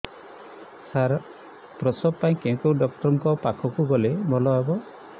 ସାର ପ୍ରସବ ପାଇଁ କେଉଁ ଡକ୍ଟର ଙ୍କ ପାଖକୁ ଗଲେ ଭଲ ହେବ